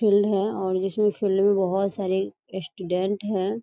Field है और इसमें फील्ड में बहुत सारे स्टूडेंट हैं।